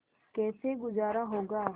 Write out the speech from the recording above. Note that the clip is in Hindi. कैसे गुजारा होगा